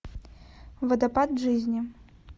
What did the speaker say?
водопад жизни